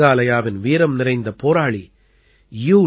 மேகாலயாவின் வீரம்நிறைந்த போராளி யூ